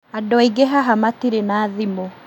Andũ aingĩ haha matirĩ na thimũ